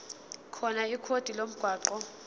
khona ikhodi lomgwaqo